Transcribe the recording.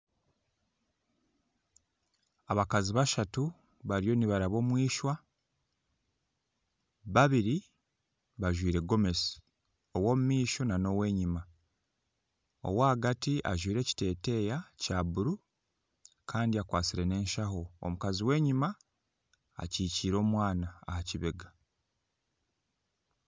Abakazi bashatu bariyo nibaraba omu eishwa, babiri bajwaire gomesi ow'omumaisho n'ow'enyima. ow'ahagati ajwaire ekiteeteeya kya buru kandi akwasire n'enshaho omukazi w'enyima akikiire omwana aha kibega.